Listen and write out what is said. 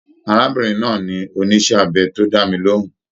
Arábìnrin náà ni oníṣe abẹ to dá mí lohùn.